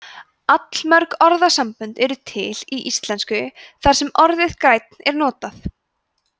allmörg orðasambönd eru til í íslensku þar sem orðið grænn er notað